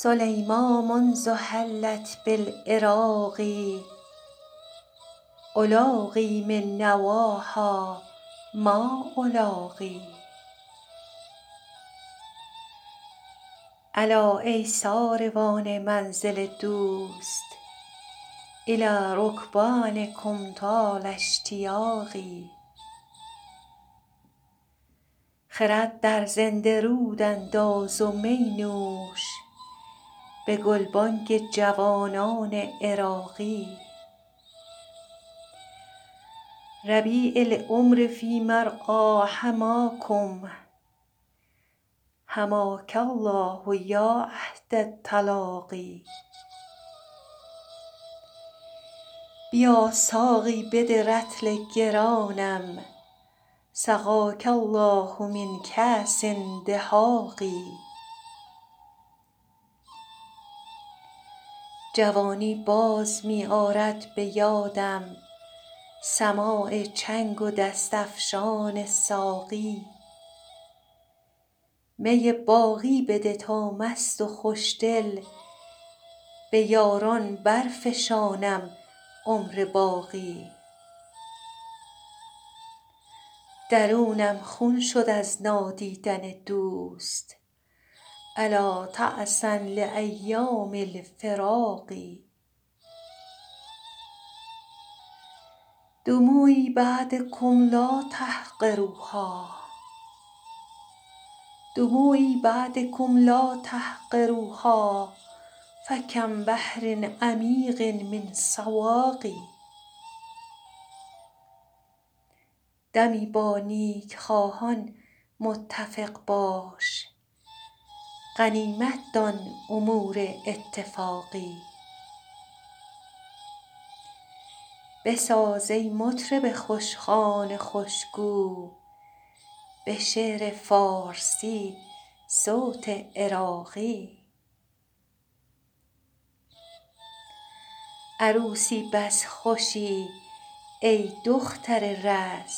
سلیمیٰ منذ حلت بالعراق ألاقی من نواها ما ألاقی الا ای ساروان منزل دوست إلی رکبانکم طال اشتیاقی خرد در زنده رود انداز و می نوش به گلبانگ جوانان عراقی ربیع العمر فی مرعیٰ حماکم حماک الله یا عهد التلاقی بیا ساقی بده رطل گرانم سقاک الله من کأس دهاق جوانی باز می آرد به یادم سماع چنگ و دست افشان ساقی می باقی بده تا مست و خوشدل به یاران برفشانم عمر باقی درونم خون شد از نادیدن دوست ألا تعسا لأیام الفراق دموعی بعدکم لا تحقروها فکم بحر عمیق من سواق دمی با نیکخواهان متفق باش غنیمت دان امور اتفاقی بساز ای مطرب خوشخوان خوشگو به شعر فارسی صوت عراقی عروسی بس خوشی ای دختر رز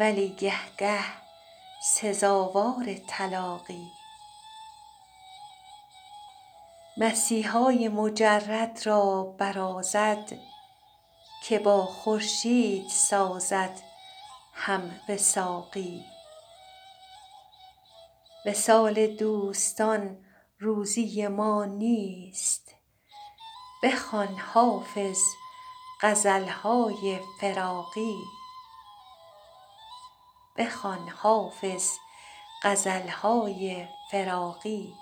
ولی گه گه سزاوار طلاقی مسیحای مجرد را برازد که با خورشید سازد هم وثاقی وصال دوستان روزی ما نیست بخوان حافظ غزل های فراقی